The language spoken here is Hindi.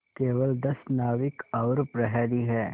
केवल दस नाविक और प्रहरी है